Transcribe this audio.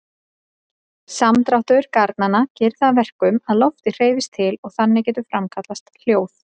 Samdráttur garnanna gerir það að verkum að loftið hreyfist til og þannig getur framkallast hljóð.